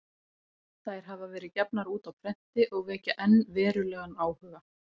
Þær hafa verið gefnar út á prenti og vekja enn verulegan áhuga.